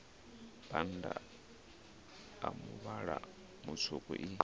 bannda a muvhala mutswuku i